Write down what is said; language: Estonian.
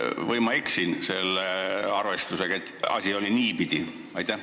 Või ma eksin selle arvestusega, et asi oli niipidi?